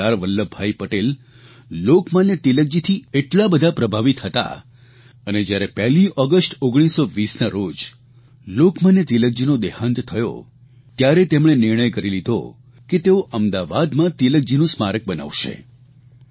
અને સરદાર વલ્લભભાઇ પટેલ લોકમાન્ય તિલકજીથી એટલા બધા પ્રભાવિત હતા અને જયારે પહેલી ઓગષ્ટ 1920ના રોજ લોકમાન્ય તિલકજીનું દેહાંત થયો ત્યારે તેમણે નિર્ણય કરી લીધો કે તેઓ અમદાવાદમાં તિલકજીનું સ્મારક બનાવશે